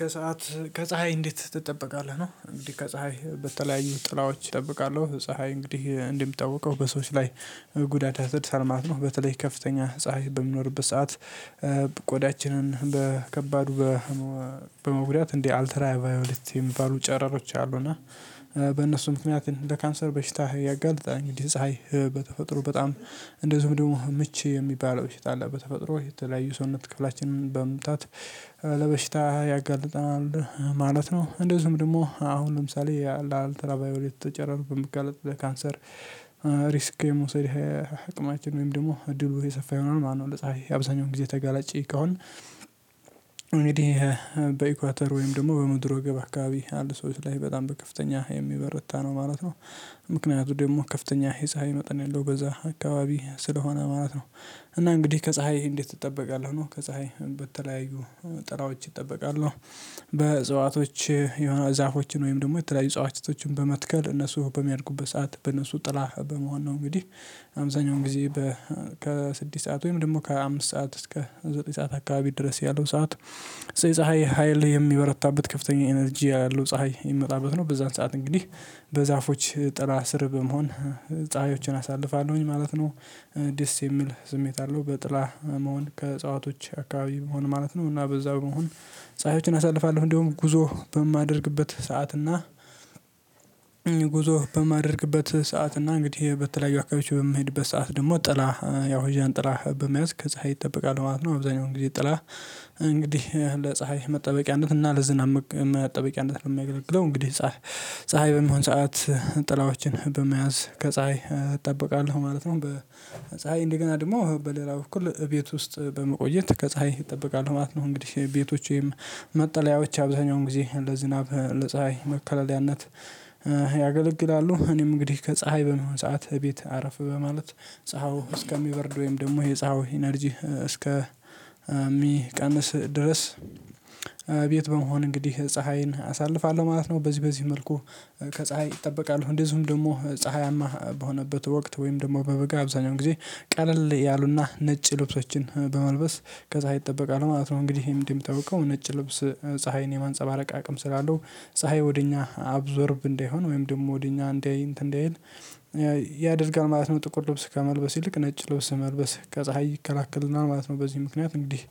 ከሰአት ከፀሀይ እንዴት ትጠበቃለህ? ነው እንግዲህ ከፀሀይ በተለያዩ ጥላዎች እጠበቃለሁ ፀሀይ እንግዲህ እንደሚታውቀው በሰዎች ላይ። ጉዳት ያደርሳል ማለት ነው በተለይ ከፍተኛ ፀሀይ በሚኖርበት ሰዓት። ቆዳችንን በከባዱ በመጉዳት እንደ አልተራ ቫዮሊት የሚባሉ ጨረሮች አሉ። እና በእነሱ ምክንያት እንደ ካንሰር በሽታ ያጋልጣል። እንዲህ ፀሀይ በተፈጥሮ በጣም እንደዚሁም ደግሞ ምች የሚባለው በሽታ አለ። በተፈጥሮ የተለያዩ ሰውነት ክፍላችንን በምታት ለበሽታ ያጋልጣል ማለት ነው። እንደዚሁም ደግሞ አሁን ለምሳሌ ላልትራቫዮሌት ጨረር በመጋለጥ ለካንሰር ሪስክ የመውሰድ አቅማችን ወይም ደግሞ እድሉ የሰፋ ይሆናል። ማነው ለፀሀይ አብዛኛውን ጊዜ ተጋላጭ ከሆነ? በኢኳተር ወይም ደግሞ በምድረ ግብ አካባቢ ያሉ ሰዎች ላይ በጣም በከፍተኛ የሚበረታ ነው ማለት ነው። ምክንያቱም ደግሞ ከፍተኛ የፀሀይ መጠን ያለው በዛ አካባቢ ስለሆነ ማለት ነው። እና እንግዲህ ከፀሀይ እንዴት እጠበቃለሁ ነው? ከፀሀይ በተለያዩ ጥላዎች ይጠበቃሉ። በእጽዋቶች የሆኑ ዛፎችን ወይም ደግሞ የተለያዩ እጽዋቶችን በመትከል እነሱ በሚያድጉበት ሰዓት በእነሱ ጥላ በመሆን ነው። እንግዲህ አብዛኛውን ጊዜ ከስድስት ሰዓት ወይም ደግሞ ከአምስት ሰዓት እስከ ዘጠኝ ሰዓት አካባቢ ድረስ ያለው ሰዓት። የፀሀይ ሀይል የሚበረታበት ከፍተኛ ኢነርጂ ያለው ፀሀይ የሚመጣበት ነው። በዛን ሰዓት እንግዲህ በዛፎች ጥላ ስር በመሆን ፀሀዮችን አሳልፋለሁኝ ማለት ነው። ደስ የሚል ስሜት አለው በጥላ መሆን ከእጽዋቶች አካባቢ መሆን ማለት ነው። እና በዛ መሆን ፀሀዮችን አሳልፋለሁ እንዲሁም ጉዞ በማደርግበት ሰዓት። እና ጉዞ በማደርግበት ሰዓት እና እንግዲህ በተለያዩ አካባቢዎች በምሄድበት ሰዓት ደግሞ ጥላ ያው ዣንጥላ በመያዝ ከፀሀይ እጠበቃለሁ ማለት ነው። አብዛኛው ጊዜ ጥላ። እንግዲህ ለፀሀይ መጠበቂያነት እና ለዝናብ መጠበቂያነት ነው ሚያገለግለው። እንግዲህ ፀሀይ ፀሀይ በሚሆን ሰዓት ጥላዎችን በመያዝ ከፀሀይ እጠበቃለሁ ማለት ነው። በፀሀይ እንደገና ደግሞ በሌላ እኩል ቤት ውስጥ በመቆየት ከፀሀይ ይጠበቃል ማለት ነው። እንግዲህ ቤቶች ወይም መጠለያዎች አብዛኛውን ጊዜ ለዝናብ ለፀሀይ መከለሊያነት ያገለግላሉ። እኔም እንግዲህ ከፀሀይ በምሆን ሰዓት ቤት አረፍ በማለት ፀሀዩ እስከሚበርድ ወይም ደግሞ የፀሀው ኢነርጂ እስከ ሚቀንስ ድረስ። ቤት በመሆን እንግዲህ ፀሀይን አሳልፋለሁ ማለት ነው። በዚህ በዚህ መልኩ ከፀሀይ እጠበቃለሁ። እንደዚሁም ደግሞ ፀሀያማ በሆነበት ወቅት ወይም ደግሞ በበጋ አብዛኛው ጊዜ ቀለል ያሉና ነጭ ልብሶችን በመልበስ ከፀሀይ እጠበቃለሁ ማለት ነው። እንግዲህ እንደታውቀው ነጭ ልብስ ፀሀይን የማንፀባረቅ አቅም ስላለው ፀሀይ ወደ እኛ አብዞርብ እንዳይሆን ወይም ደግሞ ወደ እኛ እንትን እንዳይል ያደርጋል ማለት ነው። ጥቁር ልብስ ከመልበስ ይልቅ ነጭ ልብስ መልበስ ከፀሀይ ይከላከልናል ማለት ነው። በዚህ ምክንያት እንግዲህ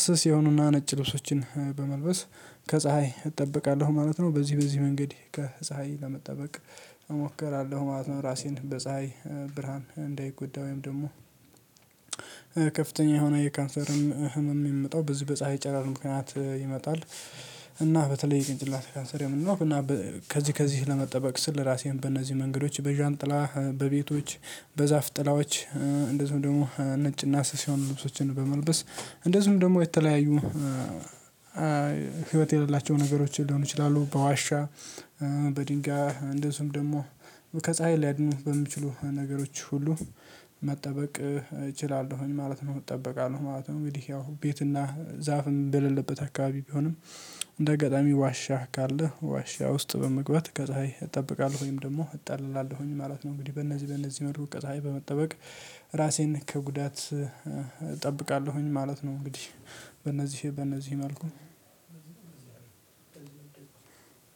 ስስ የሆኑና ነጭ ልብሶችን በመልበስ ከፀሀይ እጠብቃለሁ ማለት ነው። በዚህ በዚህ መንገድ ከፀሀይ ለመጠበቅ እሞክራለሁ ማለት ነው። ራሴን በፀሀይ ብርሃን እንዳይጎዳ ወይም ደግሞ ከፍተኛ የሆነ የካንሰርም ህመም የሚመጣው በዚህ በፀሀይ ጨራር ምክንያት ይመጣል። እና በተለይ የቅንጭላት ካንሰር የምንለው እና ከዚህ ከዚህ ለመጠበቅ ስል ለራሴም በእነዚህ መንገዶች በዣንጥላ በቤቶች በዛፍ ጥላዎች እንደዚሁም ደግሞ ነጭ እና ስስ የሆኑ ልብሶችን በመልበስ። እንደዚሁም ደግሞ የተለያዩ ህይወት የሌላቸው ነገሮች ሊሆኑ ይችላሉ። በዋሻ በድንጋይ እንደዚሁም ደግሞ ከፀሀይ ሊያገኑት በሚችሉ ነገሮች ሁሉ መጠበቅ እችላለሁኝ ማለት ነው። እጠበቃለሁ ማለት ነው። እንግዲህ ያው ቤትና ዛፍም በሌለበት አካባቢ ቢሆንም እንደ ገጣሚ ዋሻ ካለ ዋሻ ውስጥ በመግባት ከፀሀይ እጠብቃለሁኝ ወይም ደግሞ እጠላለሁኝ ማለት ነው። እንግዲህ በእነዚህ በእነዚህ መልኩ ከፀሀይ በመጠበቅ ራሴን ከጉዳት እጠብቃለሁኝ ማለት ነው። እንግዲህ በእነዚህ በእነዚህ መልኩ